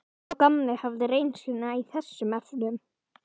Sá gamli hafði reynsluna í þessum efnum.